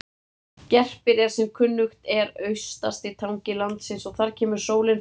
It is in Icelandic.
Gerpir er sem kunnugt er austasti tangi landsins og þar kemur sólin fyrst upp.